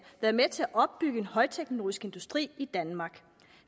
været med til at opbygge en højteknologisk industri i danmark